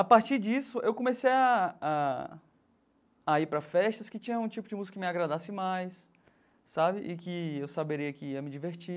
A partir disso, eu comecei a a a ir para festas que tinham um tipo de música que me agradasse mais sabe e que eu saberia que ia me divertir.